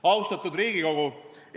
Austatud Riigikogu!